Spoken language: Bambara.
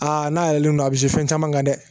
Aa n'a yɛlɛlen don a bi se fɛn caman kan dɛ